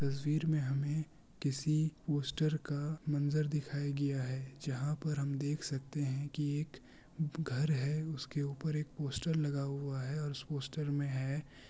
तस्वीर में हमे किसी पोस्टर का मंजर दिखाई गया है जहाँ पर हम देख सकते है कि ये एक घर है उसके ऊपर एक पोस्टर लगा हुआ है और उस पोस्टर में है --